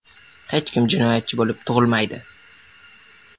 Hech kim jinoyatchi bo‘lib tug‘ilmaydi.